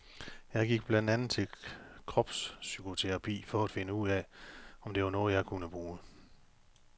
Jeg gik blandt andet til kropspsykoterapi for at finde ud af om det var noget jeg kunne bruge.